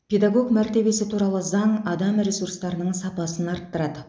педагог мәртебесі туралы заң адам ресурстарының сапасын арттырады